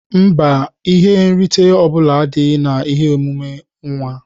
Mba, ihe nrite ọbula adịghị na ihe emume nwa.